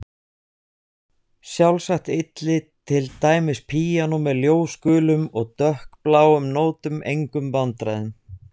Sjálfsagt ylli til dæmis píanó með ljósgulum og dökkbláum nótum engum vandræðum.